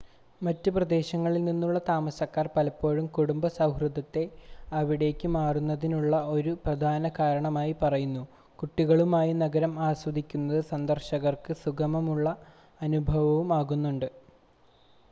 മറ്റ് പ്രദേശങ്ങളിൽ നിന്നുള്ള താമസക്കാർ പലപ്പോഴും കുടുംബ സൗഹൃദത്തെ അവിടേക്ക് മാറുന്നതിനുള്ള ഒരു പ്രധാന കാരണമായി പറയുന്നു കുട്ടികളുമായി നഗരം ആസ്വദിക്കുന്നത് സന്ദർശകർക്ക് സുഖകരമായ അനുഭവവും ആകുന്നുണ്ട്